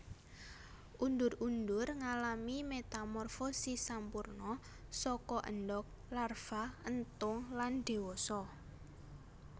Undur undur ngalami metamorfosis sampurna saka endog larva entung lan dewasa